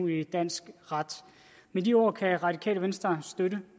i dansk ret med de ord kan det radikale venstre støtte